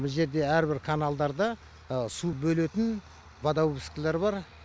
мына жерде әрбір каналдарда су бөлетін водовозкілер бар